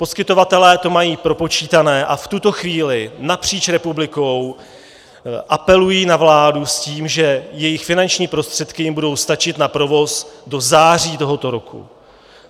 Poskytovatelé to mají propočítané a v tuto chvíli napříč republikou apelují na vládu s tím, že jejich finanční prostředky jim budou stačit na provoz do září tohoto roku.